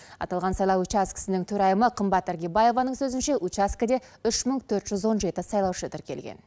аталған сайлау учаскесінің төрайымы қымбат іргебаеваның сөзінше учаскеде үш мың төрт жүз он жеті сайлаушы тіркелген